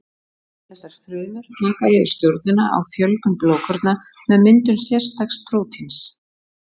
Þessar frumur taka yfir stjórnina á fjölgun blóðkorna með myndun sérstaks prótíns.